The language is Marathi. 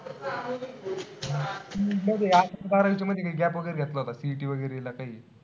असं अकरावी-बारावी च्या मध्ये काई gap वगैरे घेतला होता का CET वगैरेला काई?